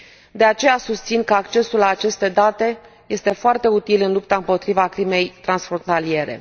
De aceea, susțin că accesul la aceste date este foarte util în lupta împotriva crimei transfrontaliere.